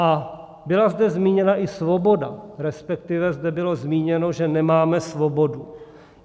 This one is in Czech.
A byla zde zmíněna i svoboda, respektive zde bylo zmíněno, že nemáme svobodu.